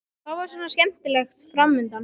Hvað var svona skemmtilegt fram undan?